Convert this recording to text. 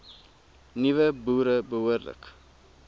nuwe boere behoorlik